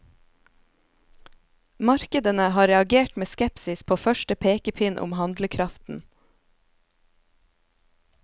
Markedene har reagert med skepsis på første pekepinn om handlekraften.